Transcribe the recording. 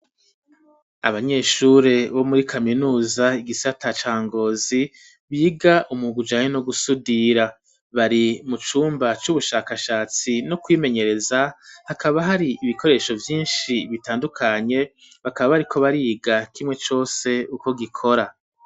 Abanyeshure bo muri kaminuza igisata cangozi biga umu gujanye no gusudira bari mu cumba c'ubushakashatsi no kwimenyereza hakaba hari ibikoresho byinshi bitandukanye bakaba bari ko bariga kimwe cose uko gikora.